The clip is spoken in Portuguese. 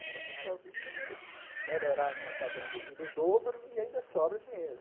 Eu digo, não, eu posso melhorar minha padrão de vida o dobro e ainda sobra dinheiro.